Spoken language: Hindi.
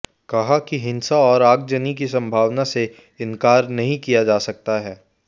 कहा कि हिंसा और आगजनी की संभावना से इनकार नहीं किया जा सकता है